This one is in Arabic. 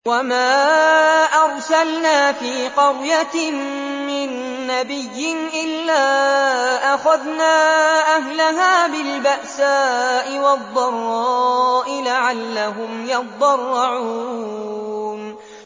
وَمَا أَرْسَلْنَا فِي قَرْيَةٍ مِّن نَّبِيٍّ إِلَّا أَخَذْنَا أَهْلَهَا بِالْبَأْسَاءِ وَالضَّرَّاءِ لَعَلَّهُمْ يَضَّرَّعُونَ